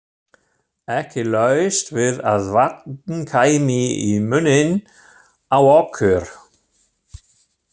Ekki laust við að vatn kæmi í munninn á okkur.